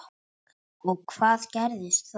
Og hvað gerðist þar?